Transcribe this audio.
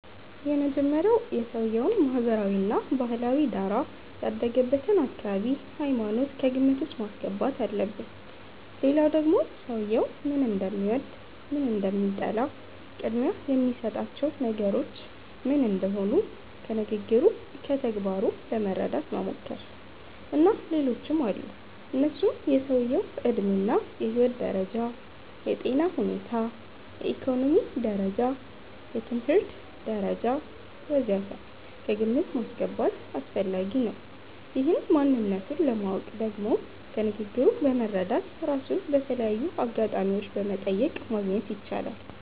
የመጀመሪያዉ የሰዉየዉን ማህበራዊ እና ባህላዊ ዳራ፣ ያደገበትን አካባቢ፣ ሃይማኖት ከግምት ዉስጥ ማስገባት አለብን ሌላዉ ደግሞ ሰዉየዉ ምን እንደሚወድ፣ ምን እንደሚጠላ፣ ቅድሚያ የሚሰጣቸው ነገሮች ምን እንደሆኑ ከንግግሩ፣ ከተግባሩ ለመረዳት መሞከር። እና ሌሎችም አሉ እነሱም የሰዉየዉ ዕድሜ እና የህይወት ደረጃ፣ የጤና ሁኔታ፣ የኢኮኖሚ ደረጃ፣ የትምህርት ደረጃ ወ.ዘ.ተ ከግምት ማስገባት አስፈላጊ ነዉ። ይህን ማንነቱን ለማወቅ ደግሞ ከንግግሩ በመረዳት፣ ራሱን በተለያዩ አጋጣሚዎች በመጠየቅ ማግኘት ይቻላል